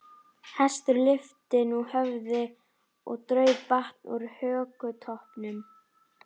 Hestur lyfti nú höfði og draup vatn úr hökutoppnum.